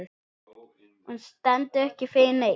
Hún stendur ekki fyrir neitt.